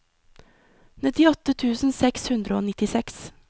nittiåtte tusen seks hundre og nittiseks